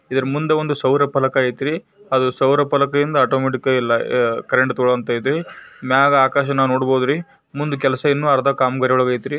ಇದ್ರ ಮುಂದೆ ಒಂದು ಶೌರ್ಯ ಫಲಕ ಐತ್ರಿ ಅದು ಶೌರ್ಯ ಫಲಕದಿಂದ ಆಟೋಮ್ಯಾಟಿಕ್ ಆಗಿ ಎಲ್ಲಾಕರೆಂಟ್ ತೋಕೋಳೋವಂತ್ ಐತ್ರಿ ಮೇಲ್ ಆಕಾಶ ನೋಡಬಹುದ್ ರೀ ಮುಂದೆ ಕೆಲಸ ಇನ್ನುಅರ್ಧ ಕಾಮಗಾರಿ ಒಳಗ್ ಐತ್ರಿ.